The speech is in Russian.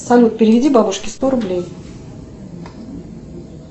салют переведи бабушке сто рублей